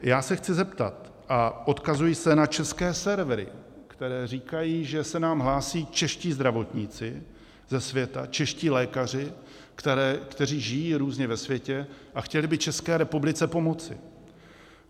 Já se chci zeptat, a odkazuji se na české servery, které říkají, že se nám hlásí čeští zdravotníci ze světa, čeští lékaři, kteří žijí různě ve světě a chtěli by České republice pomoci.